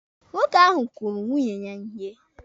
Nwoke ahụ kụrụ nwunye ya ihe.